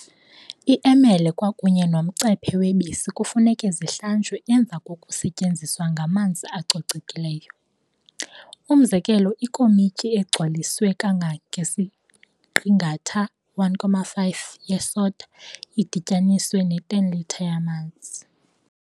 I emele kwakunye nomcephe webisi kufuneka zihlanjwe emva kokusetyenziswa ngamanzi acocekileyo. Umzekelo ikomityi egcwaliswe kanga ngesiqingatha, 1.5, ye soda idityaniswe ne 10 litre yamanzi.